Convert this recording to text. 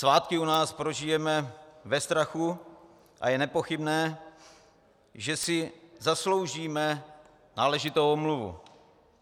Svátky u nás prožijeme ve strachu a je nepochybné, že si zasloužíme náležitou omluvu.